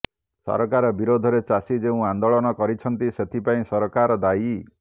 ସରକାର ବିରୋଧରେ ଚାଷୀ ଯେଉଁ ଆନ୍ଦୋଳନ କରିଛନ୍ତି ସେଥିପାଇଁ ସରକାର ଦାୟୀ